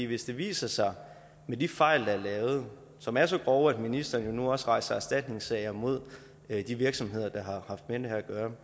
hvis det viser sig at de fejl der er lavet som er så grove at ministeren nu også rejser erstatningssager mod de virksomheder der har haft med det her at gøre